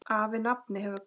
Afi nafni hefur kvatt.